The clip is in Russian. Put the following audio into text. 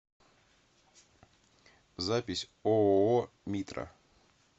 запись ооо митра